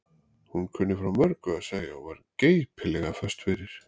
Hún kunni frá mörgu að segja og var geipilega föst fyrir.